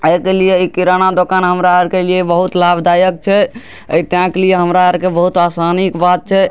एहे के लिए इ किराना दुकान हमरा आर के लिए बहुत लाभदायक छै इ एहे के लिए हमरा आर के लिए बहुत आसानी के बात छै।